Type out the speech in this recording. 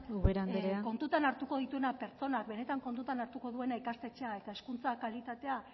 kontutan hartuko dituena ubera anderea amaitzen joan pertsonak benetan kontutan hartuko duena ikastetxea eta hezkuntza kalitatea